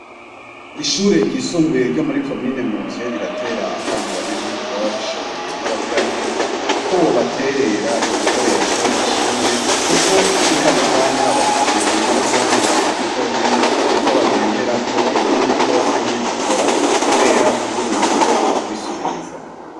Ishure ryisumbuye ryo muri commune Muvye riratera akamo abanyagihugu boba babishoboye nabagira neza ko bobaterera ibikoresho vyishure ko muri Kano kanya bafise ibinyabwonko bibiri vyonyene nivyo bagengerako ibindi vyose ntibigikora Kubera kubura uburyo bwokubisubiriza .